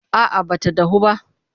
A'a ba ta dahu ba.